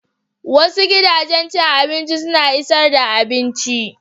Wasu gidajen cin abinci suna isar da abinci.